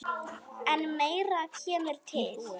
En meira kemur til.